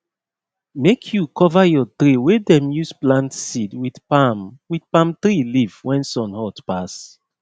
make you cover your tray wey dem use plant seed with palm with palm tree leaf when sun hot pass